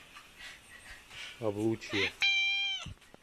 облучье